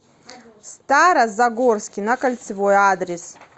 стара загорский на кольцевой адрес